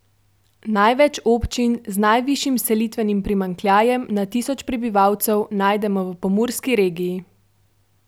Največ občin z najvišjim selitvenim primanjkljajem na tisoč prebivalcev najdemo v Pomurski regiji.